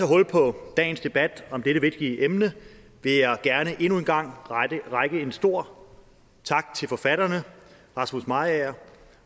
hul på dagens debat om dette vigtige emne vil jeg gerne endnu en gang rette en stor tak til forfatterne rasmus mariager